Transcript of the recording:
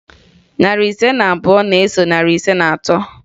Narị ise na abụọ na-eso narị ise na atọ